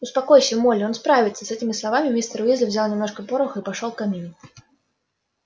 успокойся молли он справится с этими словами мистер уизли взял немножко пороху и пошёл к камину